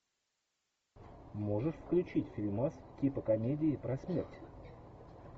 можешь включить фильмас типа комедии про смерть